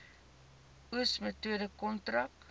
oes metode kontrak